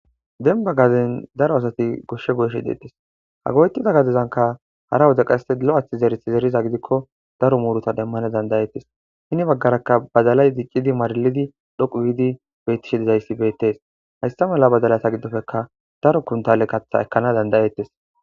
denba gaden daro asati goshshe gooshshe deettes ha goyetida gadezanka hara wode qase lo7athi zeret zeriza gidikko daro muurota demmane dandayettes hini baggarakka badalay diccidi maralidi dhoqu giidi bettishi dizayssi beettes hayssa mala badalata giddofeka daro kuntale katha ekkana dandayettes